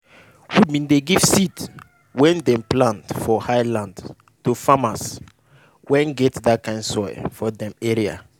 we bin give seed wey dem dey plant for highland to farmers wey get that kind soil for dem area.